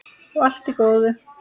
Og allt í góðu.